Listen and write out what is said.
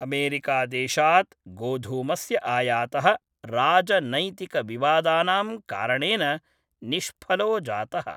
अमेरिकादेशात् गोधूमस्य आयातः राजनैतिकविवादानां कारणेन निष्फलो जातः।